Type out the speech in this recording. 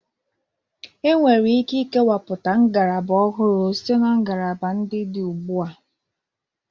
E nwere ike ikewapụta ngalaba ọhụrụ site na ngalaba ndị dị ugbua.